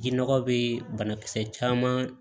Ji nɔgɔ be banakisɛ caman